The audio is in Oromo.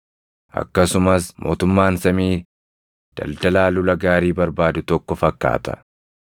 “Akkasumas mootummaan samii daldalaa lula gaarii barbaadu tokko fakkaata.